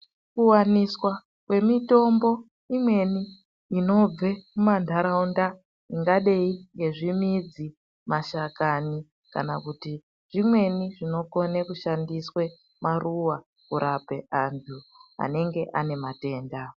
Kuwaniswa kwemitombo imweni inobve mumantaraunda ingadai ngezvimidzi, mashakani kana kuti zvimweni zvinokone kushandiswe maruwa kurape antu anenge ane matenda.